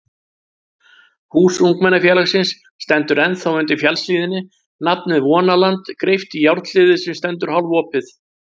Hús ungmennafélagsins stendur ennþá undir fjallshlíðinni, nafnið Vonaland greypt í járnhliðið sem stendur hálfopið.